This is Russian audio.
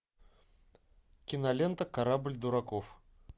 кинолента корабль дураков